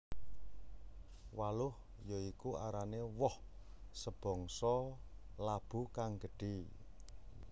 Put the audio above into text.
Waluh ya iku arané woh sebangsa labu kang gedhé